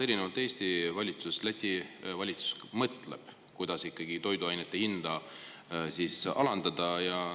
Erinevalt Eesti valitsusest Läti valitsus vähemalt mõtleb, kuidas toiduainete hinda alandada.